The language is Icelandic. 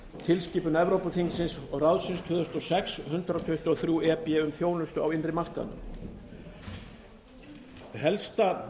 tilskipun evrópuþingsins og ráðsins tvö þúsund og sex hundrað tuttugu og þrjú e b um þjónustu á innri markaði helsta